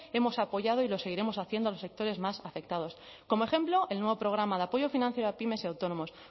hemos apoyado y lo seguiremos haciendo a los sectores más afectados como ejemplo el nuevo programa de apoyo financiero a pymes y autónomos